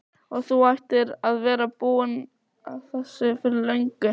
Hver á að leiðrétta æðsta handhafa alræðis öreiganna?